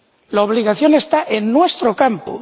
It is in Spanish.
La obligación está en nuestro campo.